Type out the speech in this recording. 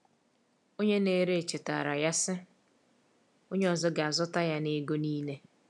Onye na-ere chetaara ya, sị: “Onye ọzọ ga-azụta ya n’ego niile.”